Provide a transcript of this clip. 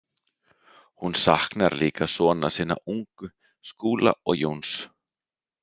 Hún saknar líka sona sinna ungu, Skúla og Jóns.